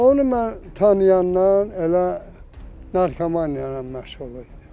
Onu mən tanıyandan elə narkomaniya ilə məşğul idi.